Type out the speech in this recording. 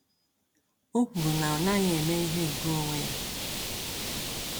O kwuru na ọ naghị eme ihe nke onwe ya.